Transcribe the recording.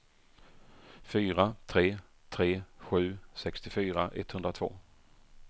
fyra tre tre sju sextiofyra etthundratvå